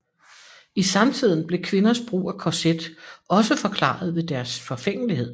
I samtiden blev kvinders brug af korset også forklaret ved deres forfængelighed